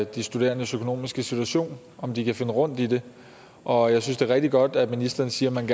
de studerendes økonomiske situation om de kan finde rundt i det og jeg synes det er rigtig godt at ministeren siger at man